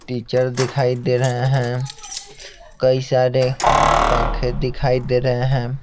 Teacher दिखाई दे रहे है कई सारे पंखे दिखाई दे रहे हैं।